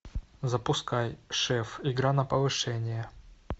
запускай шеф игра на повышение